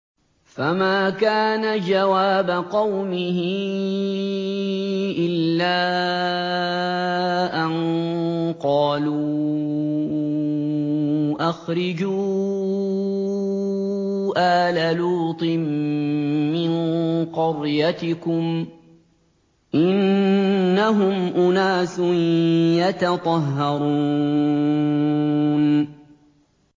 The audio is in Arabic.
۞ فَمَا كَانَ جَوَابَ قَوْمِهِ إِلَّا أَن قَالُوا أَخْرِجُوا آلَ لُوطٍ مِّن قَرْيَتِكُمْ ۖ إِنَّهُمْ أُنَاسٌ يَتَطَهَّرُونَ